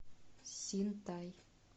синтай